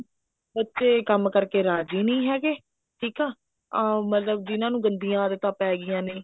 ਬੱਚੇ ਕੰਮ ਕਰਕੇ ਰਾਜ਼ੀ ਨੀ ਹੈਗੇ ਅਮ ਮਤਲਬ ਜਿਹਨਾ ਨੂੰ ਗੰਦੀਆਂ ਆਦਤਾਂ ਪੈ ਗਈਆਂ ਨੇ